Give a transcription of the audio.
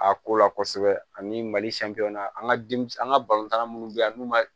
A ko la kosɛbɛ ani mali na an ka an ka balontan minnu bɛ yen n'u ma